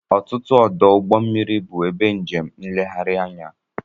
Ọtụtụ ọdụ ụgbọ mmiri bụ ebe njem nlegharị anya